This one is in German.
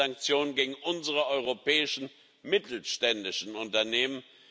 Es sind Sanktionen gegen unsere europäischen mittelständischen Unternehmen